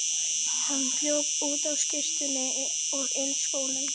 Hann hljóp út á skyrtunni og inniskónum.